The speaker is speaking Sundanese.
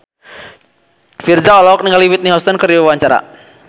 Virzha olohok ningali Whitney Houston keur diwawancara